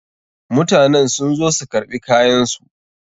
Mutanen sun zo su karɓi kayan su.